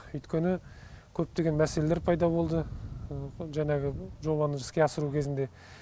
өйткені көптеген мәселелер пайда болды жаңағы жобаны іске асыру кезінде